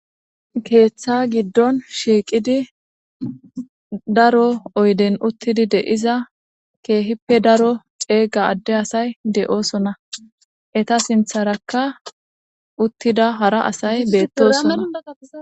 Keetha giddon shiiqid daro oyden utidi de'iza keehippe daro cega ade asay de'osona, eta sintharaka utida hara asyi betosona